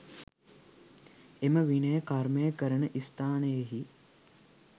එම විනය කර්මය කරන ස්ථානයෙහි